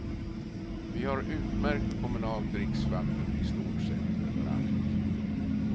Vi har utmärkt kommunalt dricksvatten i stort sett överallt.